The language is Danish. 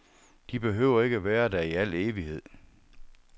De behøver ikke være der i al evighed.